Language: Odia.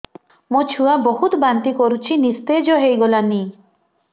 ମୋ ଛୁଆ ବହୁତ୍ ବାନ୍ତି କରୁଛି ନିସ୍ତେଜ ହେଇ ଗଲାନି